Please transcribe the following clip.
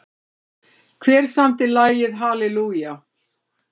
Hver samdi lagið Hallelujah?